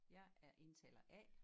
Jeg er indtaler A